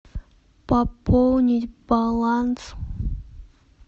пополнить баланс